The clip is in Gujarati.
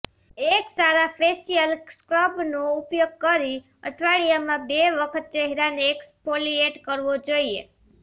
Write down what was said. એક સારા ફેસીઅલ સ્ક્રબનો ઉપયોગ કરી અઠવાડિયામાં બે વખત ચહેરાને એક્સફોલીએટ કરવો જોઈએ